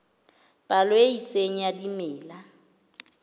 palo e itseng ya dimela